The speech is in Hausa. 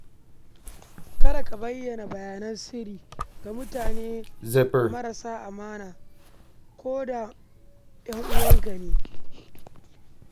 Kada ka bayyana bayananka na sirri ga mutane marasa amana, ko da makusantanka ne.